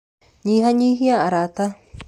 Nyihanyihia arata.